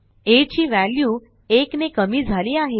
आ ची व्हॅल्यू 1 ने कमी झाली आहे